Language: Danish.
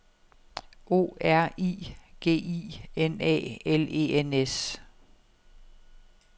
O R I G I N A L E N S